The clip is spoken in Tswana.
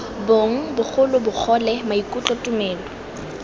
bong bogolo bogole maikutlo tumelo